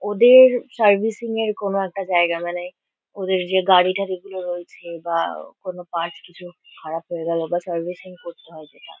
ওদের সার্ভিসিং -এর কোনো একটা জায়গা। মানে ওদের যে গাড়ি-ঠারি গুলো রয়েছে বা কোনো পার্টস কিছু খারাপ হয়ে গেলো বা সার্ভিসিং করতে হয় যেটা।